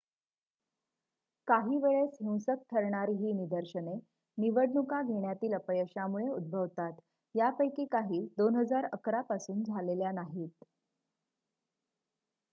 काही वेळेस-हिंसक ठरणारी ही निदर्शने निवडणुका घेण्यातील अपयशामुळे उद्भवतात यापैकी काही 2011 पासून झालेल्या नाहीत